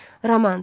Romans.